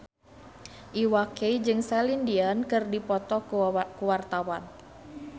Iwa K jeung Celine Dion keur dipoto ku wartawan